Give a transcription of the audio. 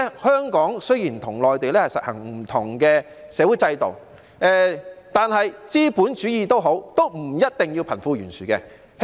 香港雖然與內地實行不同的社會制度，但資本主義不一定要貧富懸殊。